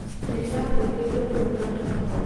Nĩ ndĩrakwĩrirĩria mũno mũrata wakwa